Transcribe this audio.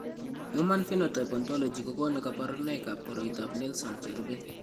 Human Phenotype Ontology kokonu kabarunoikab koriotoab Nelson cherube.